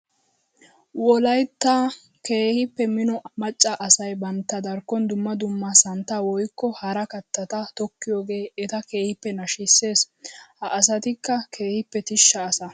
Wolaytta keehippe mino maca asay bantta darkkon dumma dumma santta woykko hara kattata tokkiyooge etta keehippe nashisees. Ha asatikka keehippe tishsha asa.